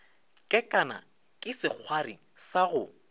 kekana ke sekgwari sa go